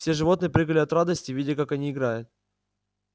все животные прыгали от радости видя как они играют